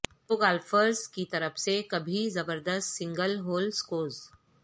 پرو golfers کی طرف سے کبھی زبردست سنگل ہول سکورز